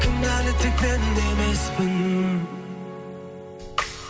кінәлі тек мен де емеспін